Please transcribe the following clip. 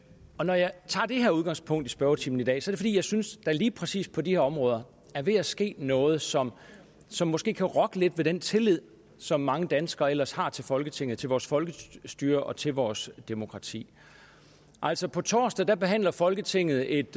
tager det her udgangspunkt i spørgetimen i dag er det fordi jeg synes der lige præcis på de her områder er ved at ske noget som som måske kan rokke lidt ved den tillid som mange danskere ellers har til folketinget til vores folkestyre og til vores demokrati altså på torsdag behandler folketinget et